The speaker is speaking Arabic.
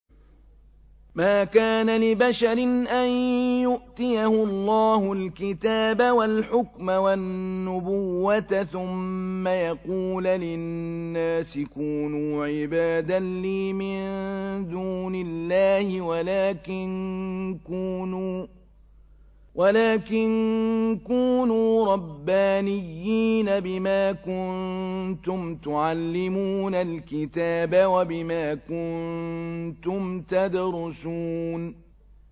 مَا كَانَ لِبَشَرٍ أَن يُؤْتِيَهُ اللَّهُ الْكِتَابَ وَالْحُكْمَ وَالنُّبُوَّةَ ثُمَّ يَقُولَ لِلنَّاسِ كُونُوا عِبَادًا لِّي مِن دُونِ اللَّهِ وَلَٰكِن كُونُوا رَبَّانِيِّينَ بِمَا كُنتُمْ تُعَلِّمُونَ الْكِتَابَ وَبِمَا كُنتُمْ تَدْرُسُونَ